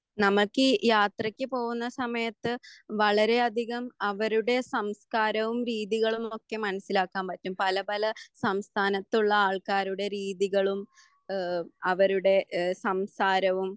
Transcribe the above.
നമക്ക് ഈ യാത്രക്ക് പോകുന്ന സമയത്ത് വളരെ അധികം അവരുടെ സംസ്കാരവും രീതികളും ഒക്കെ മനസ്സിലാക്കാൻ പറ്റും പല പല സംസ്ഥാനത്തുള്ള ആൾക്കാരുടെ രീതികളും ഏഹ് അവരുടെ ഏഹ് സംസാരവും